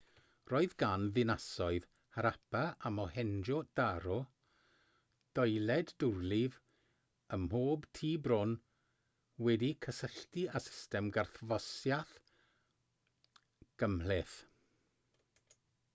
roedd gan ddinasoedd harappa a mohenjo-daro doiled dwrlif ym mhob tŷ bron wedi'u cysylltu â system garthffosiaeth gymhleth